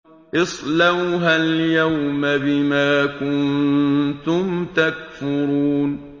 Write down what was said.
اصْلَوْهَا الْيَوْمَ بِمَا كُنتُمْ تَكْفُرُونَ